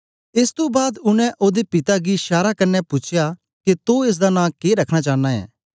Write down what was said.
एस तू बाद उनै ओदे पिता गी शारा कन्ने पूछया के तो एसदा नां के रखना चानां ऐ